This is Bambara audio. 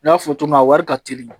N y'a fɔ cogo min na a wari ka teli